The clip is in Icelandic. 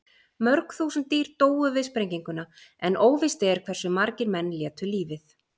Mörg þúsund dýr dóu við sprenginguna en óvíst er hversu margir menn létu lífið.